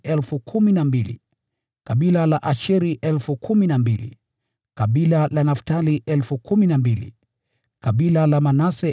kutoka kabila la Asheri 12,000, kutoka kabila la Naftali 12,000, kutoka kabila la Manase 12,000,